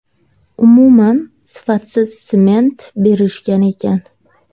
Umuman sifatsiz sement berishgan ekan.